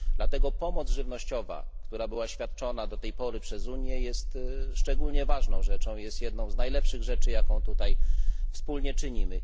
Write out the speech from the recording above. Dlatego pomoc żywnościowa, która była świadczona do tej pory przez Unię, jest szczególnie ważną rzeczą, jedną z najlepszych rzeczy, jaką tutaj wspólnie czynimy.